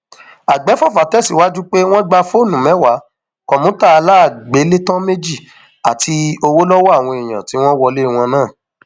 àgbéfọfà tẹsíwájú pé wọn gba fóònù mẹwàá kọmútà aláàgbélétàn méjì àti owó lọwọ àwọn èèyàn tí wọn wọlé wọn náà